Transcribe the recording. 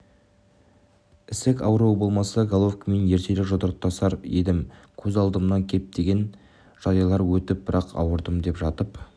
ісік ауруы болмаса головкинмен ертерек жұдырықтасар едім көз алдамнан көптеген жайлар өтті бірақ ауырдым деп жатып